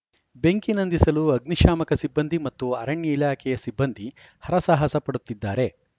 ಬೆಂಕಿ ನಂದಿಸಲು ಅಗ್ನಿ ಶಾಮಕ ಸಿಬ್ಬಂದಿ ಮತ್ತು ಅರಣ್ಯ ಇಲಾಖೆಯ ಸಿಬ್ಬಂದಿ ಹರಸಾಹಸ ಪಡುತ್ತಿದ್ದಾರೆ